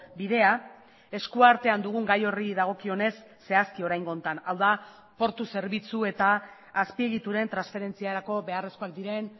bidea eskuartean dugun gai horri dagokionez zehazki oraingo honetan hau da portu zerbitzu eta azpiegituren transferentziarako beharrezkoak diren